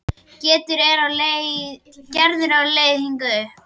Gerður er á leið hingað upp.